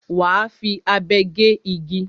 Wà á fi abe gé igi.